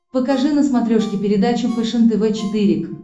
покажи на смотрешке передачу фэшен тв четыре к